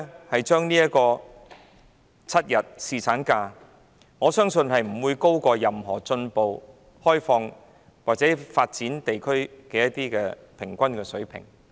我相信7天侍產假不會高於任何進步、開放或已發展地區的平均水平。